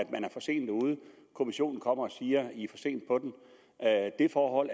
er for sent ude kommissionen kommer og siger i er for